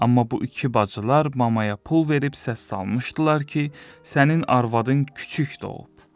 Amma bu iki bacılar mamaya pul verib səs salmışdılar ki, sənin arvadın küçüklə doğub.